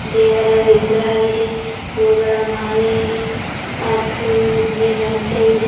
ದೇವರ ವಿಗ್ರಹವಿದೆ ಹೂಗಳ ಮಾಲೆ ಇವೆ ಮತ್ತು ಇಲ್ಲಿ ಗಂಟೆ ಇದೆ.